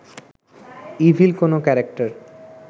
evil কোনো character